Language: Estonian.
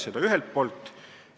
Seda ühelt poolt.